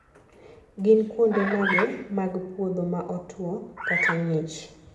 gin kuonde mage mag puodho ma otwo /ng'ich?